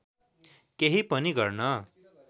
केही पनि गर्न